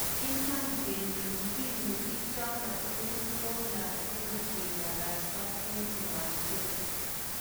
Iman kele mbinu ichano tugul ko lazima kiparasta en uwanjet